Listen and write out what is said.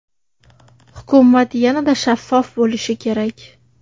Hukumat yanada shaffof bo‘lishi kerak.